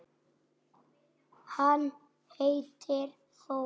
Hann heitir Þór.